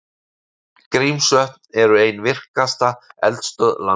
Grímsvötn eru ein virkasta eldstöð landsins.